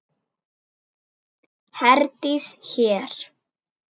Herdís hér.